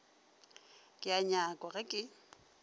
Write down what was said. ke a nyakwa ge ke